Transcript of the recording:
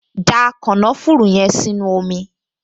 Da kànáfùrù yẹn sínú omi!